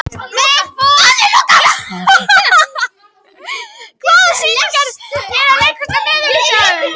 Vigfús, hvaða sýningar eru í leikhúsinu á miðvikudaginn?